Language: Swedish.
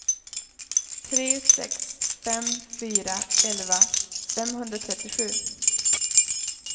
tre sex fem fyra elva femhundratrettiosju